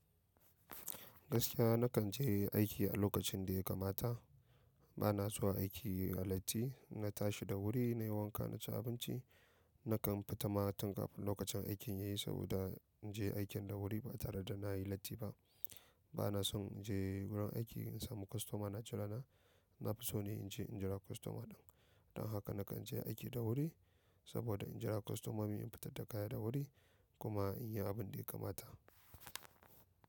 Gaskiya na kan je aiki a lokacin da ya kamata. Ba na zuwa aiki a latti. Na tashi da wuri nayi wanka na ci abinci. Nakan fita matun kafin lokacin aikin yayi saboda in je aikin da wuri ba tare da na yi latti ba. Ba na son in je wurin aiki in samu kwastoma na jira na. Na fi so ne in je in jira kwastoma ɗin. Don haka na kan je aiki da wuri saboda in jira kwastomomi in fitar da kaya da wuri kuma in yi abun da ya kamata.